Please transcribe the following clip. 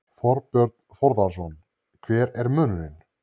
Þorbjörn Þórðarson: Hver er munurinn?